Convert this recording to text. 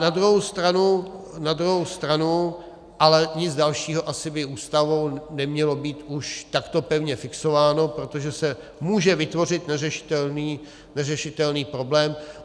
Na druhou stranu ale nic dalšího asi by Ústavou nemělo být už takto pevně fixováno, protože se může vytvořit neřešitelný problém.